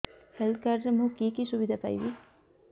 health card ରେ ମୁଁ କି କି ସୁବିଧା ପାଇବି